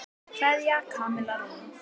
Kveðja, Kamilla Rún.